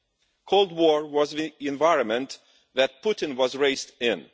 The cold war was the environment that Putin was raised in.